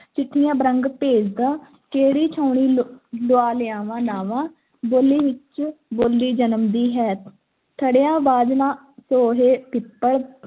ਚਿੱਠੀਆਂ ਬਰੰਗ ਭੇਜਦਾ, ਕਿਹੜੀ ਛਾਉਣੀ ਲ~ਲੁਆ ਲਿਆਵਾਂ ਨਾਂਵਾਂ, ਬੋਲੀ ਵਿੱਚੋਂ ਬੋਲੀ ਜਨਮਦੀ ਹੈ ਥੜ੍ਹਿਆਂ ਬਾਝ ਨਾ ਸੋਹੇ ਪਿੱਪਲ,